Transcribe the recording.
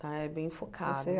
Tá, é bem focado. Você